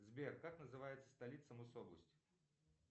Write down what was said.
сбер как называется столица мособласть